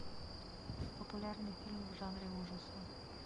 популярные фильмы в жанре ужасы